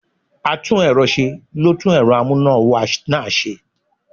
atún erò se, lo tún erò amuna-wa naa se